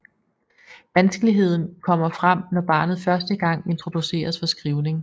Vanskeligheden kommer frem når barnet første gang introduceres for skrivning